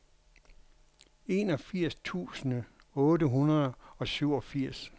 enogfirs tusind otte hundrede og syvogfirs